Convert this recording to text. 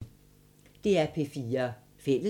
DR P4 Fælles